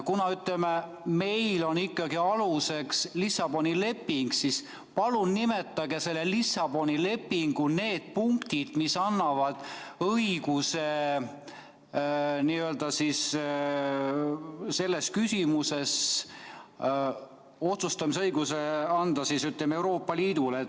Kuna meil on ikkagi aluseks Lissaboni leping, siis palun nimetage Lissaboni lepingu need punktid, mis annavad selles küsimuses otsustamisõiguse Euroopa Liidule.